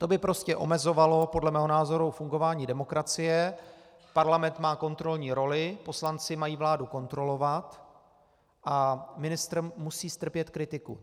To by prostě omezovalo podle mého názoru fungování demokracie, Parlament má kontrolní roli, poslanci mají vládu kontrolovat a ministr musí strpět kritiku.